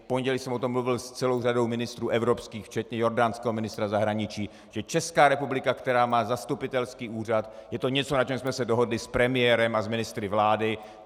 V pondělí jsem o tom mluvil s celou řadou ministrů evropských včetně jordánského ministra zahraničí, že Česká republika, která má zastupitelský úřad, je to něco, na čem jsme se dohodli s premiérem a s ministry vlády.